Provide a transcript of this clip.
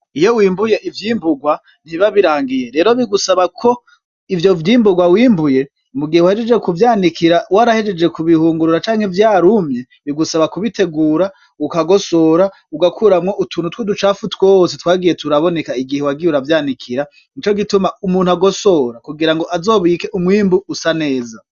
Iyo wimbuye ivyimburwa ntibabirangiye rero bigusaba ko ivyo vyimburwa wimbuye mu gihe wahejeje kuvyanikira warahejeje ku bihungurura canke vya rumye bigusaba kubitegura ukagosora ugakuramwo utuntu twu ducapfu twose twagiye turaboneka igihe wagiye uravyanikira ni co gituma umuntu agosora kugira ngo azobike umwimbu usa neza.